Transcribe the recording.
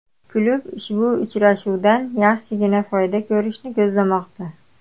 Klub ushbu uchrashuvdan yaxshigina foyda ko‘rishni ko‘zlamoqda.